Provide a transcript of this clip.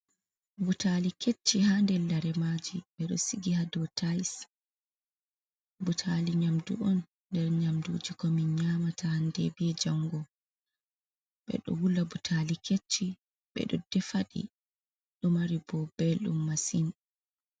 Butali kecci ha nder lare maji, ɓe ɗo sigi ha dow tais, butali nyamdu on nder nyamduji ko min nyamata hande be jango ɓe ɗo wula butali kecci ɓe ɗo defaɗi ɗo mari ɓo beldum masin.